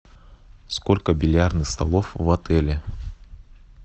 сколько бильярдных столов в отеле